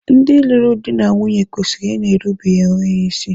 Ndị lụrụ di na nwunye kwesịrị ịna-erubere ibe ha isi.